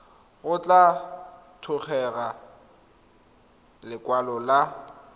go tla tlhokega lekwalo la